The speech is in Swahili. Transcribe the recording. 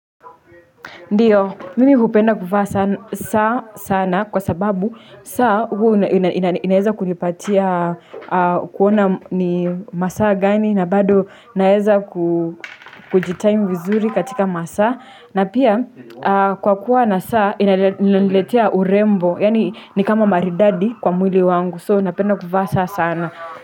Ndio, mimi hupenda kuvaa saa sana kwa sababu saa huwa inaeza kunipatia kuona ni masaa gani na bado naeza kujitime vizuri katika masaa na pia kwa kuwa na saa inaniletea urembo, yani nikama maridadi kwa mwili wangu, so napenda kuvaa saa sana.